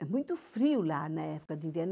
É muito frio lá na época de inverno.